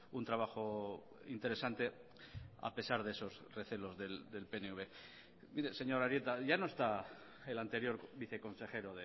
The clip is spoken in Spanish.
un trabajo interesante a pesar de esos recelos del pnv mire señor arieta ya no está el anterior viceconsejero